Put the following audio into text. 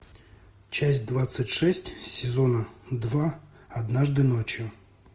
часть двадцать шесть сезона два однажды ночью